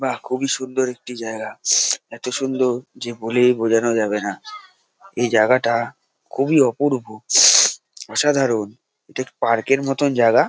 বাহ খুবই সুন্দর একটি জায়গা এত সুন্দর যে বলেই বোঝানো যাবে না এই জায়গাটা খুবই অপূর্ব অসাধারণ এটা পার্ক -এর মতন জায়গা।